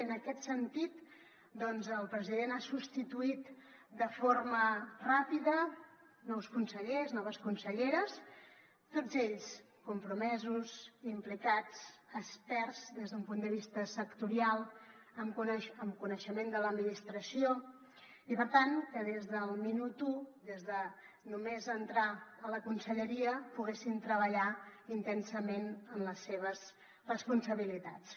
i en aquest sentit doncs el president ha substituït de forma ràpida nous consellers noves conselleres tots ells compromesos implicats experts des d’un punt de vista sectorial amb coneixement de l’administració i per tant que des del minut u des de només entrar a la conselleria poguessin treballar intensament en les seves responsabilitats